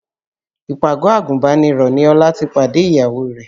Ìpàgọ́ àgùnbánirọ̀ ni Ọlá ti pàdé ìyàwó rẹ̀